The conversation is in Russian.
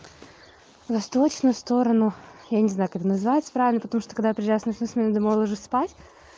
восточную сторону я не знаю как называется правильно потому что когда я приезжаю с ночной смены дома ложусь спать